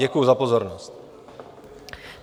Děkuji za pozornost.